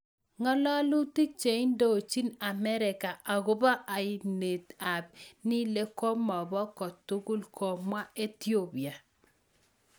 Ng'alalutik cheindochin Amerika akopo ainet AP Nile komopaa kotugul ...komwaa etiopia